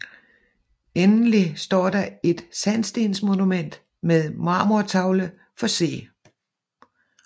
Endelig står der et sandstensmonument med marmortavle for C